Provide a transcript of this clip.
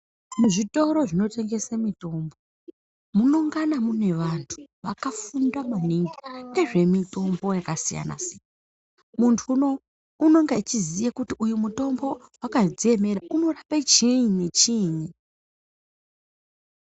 Muzvitoro zvinotengese mitombo mungana mune vantu vakafunda maningi ngezvemitombo yakasiyana-siyana. Muntu uno unonga achiziya kuti uyu mutombo unorapachiinyi nechiinyi.